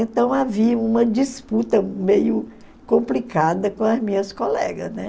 Então havia uma disputa meio complicada com as minhas colegas, né?